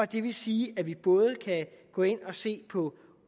det vil sige at vi både kan gå ind og se på